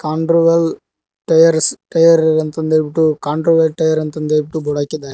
Tyres tyre ಇರುವಂತದ್ ಹೇಳ್ಬಿಟ್ಟು tyre ಅಂತ ಹೇಳ್ಬಿಟ್ಟು ಬೋರ್ಡ್ ಹಾಕಿದ್ದಾರೆ.